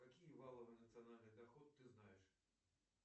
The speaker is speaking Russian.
какие валовый национальный доход ты знаешь